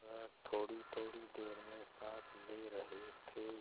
वह थोड़ीथोड़ी देर में साँस ले रहे थे